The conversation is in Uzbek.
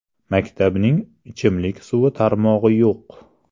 Maktabning ichimlik suvi tarmog‘i yo‘q.